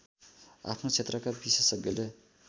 आफ्नो क्षेत्रका विशेषज्ञले